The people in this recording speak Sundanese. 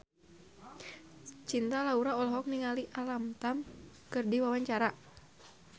Cinta Laura olohok ningali Alam Tam keur diwawancara